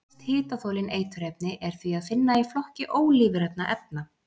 Flest hitaþolin eiturefni er því að finna í flokki ólífrænna efna.